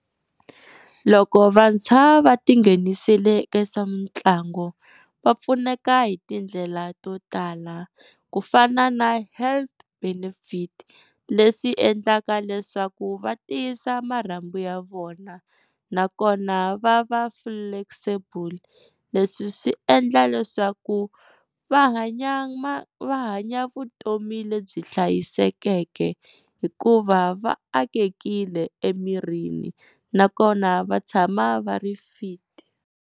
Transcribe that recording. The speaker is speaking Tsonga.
Loko vantshwa va ti nghenisile eka swa mitlangu va pfuneka hi tindlela to tala ku fana na health benefit leswi endlaka leswaku va tiyisa marhambu ya vona, nakona va va flexible leswi swi endla leswaku va hanya va hanya vutomi lebyi hlayisekeke, hikuva va akekile emirini nakona va tshama va ri fit.